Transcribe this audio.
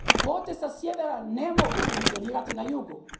Kvote sa sjevera ne mogu funkcionirati na jugu.